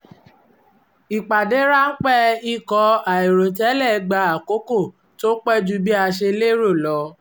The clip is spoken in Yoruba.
ìpàdé ráńpẹ́ ikọ̀ àìrò tẹ́lẹ̀ gba àkókò tó pẹ́ ju bí a ṣe lérò lọ